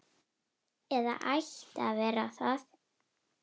Eða ætti að vera það.